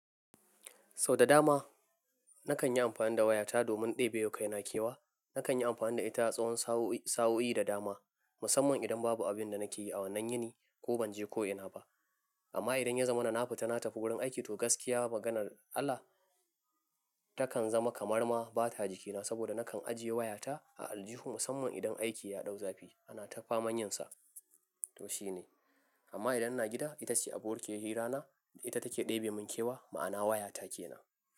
Sau da dama na kan yi amfani da wayata domin ɗebe wa kai na kewa. Na kan yi amfani da ita a tsawon sauyi da dama, musamman idan babu abin da nake yi a wannan yini ko ban je ko'ina ba. Amma idan ya zama na nafi ta na tafi wurin aiki, to gaskiya maganar Allah takan zama kamar ma bata jikina saboda na kan ajiye wayata a aljihun musamman idan aiki ya dau zafi ana ta faman yin sa. To shi ne. Amma idan ina gida ita ce abo kiyar hira na, ita take ɗebe mun kewa, ma'ana wayata ke na.